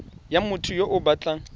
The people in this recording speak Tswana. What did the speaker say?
ya motho yo o batlang